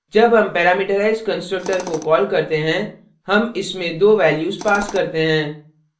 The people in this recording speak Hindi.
जब हम parameterized constructor को कॉल करते हैं हम इसमें दो values pass करते हैं